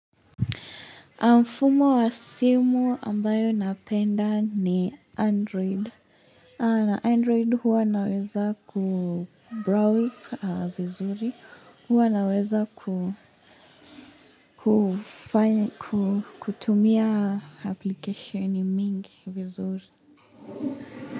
Mfumo wa simu ambayo napenda ni Android. Na Android huwa naweza kubrowse vizuri. Huwa naweza kutumia application mingi vizuri.